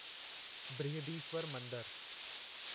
बृहदीश्वर मंदरु